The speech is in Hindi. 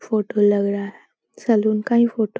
फोटो लग रहा है सैलून का ही फोटो --